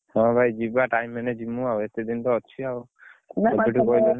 ହଁ, ଭାଇ ଯିବା time ହେଲେ ଯିବୁ ଆଉ, ଏତେ ଦିନ ତ ଅଛି ଆଉ